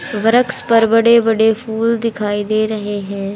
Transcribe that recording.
वृक्ष पर बड़े बड़े फूल दिखाई दे रहे है।